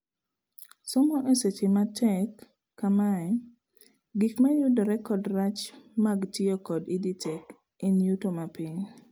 Somo e seche matek kamae : gik mayudore kod rach mag tiyo kod EdTech en yuto mapiny